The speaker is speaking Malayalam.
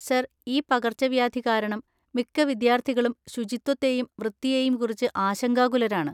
സർ, ഈ പകർച്ചവ്യാധി കാരണം മിക്ക വിദ്യാർത്ഥികളും ശുചിത്വത്തെയും വൃത്തിയെയും കുറിച്ച് ആശങ്കാകുലരാണ്.